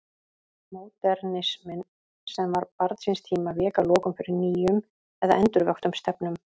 Módernisminn, sem var barn síns tíma, vék að lokum fyrir nýjum eða endurvöktum stefnum.